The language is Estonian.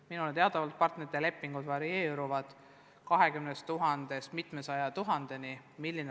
Minule teadaolevalt partnerite lepingud varieeruvad 20 000-st mitmesaja tuhandeni.